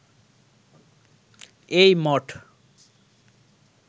এই মঠ